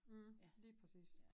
Mh lige præcis